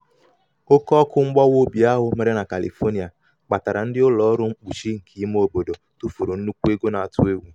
oke ọkụ mgbawa obi ahụ mere na califonia kpatara ndị ụlọ ọrụ mkpuchi nke ime obodo tụfuru nnukwu ego na-atụ egwu. na-atụ egwu.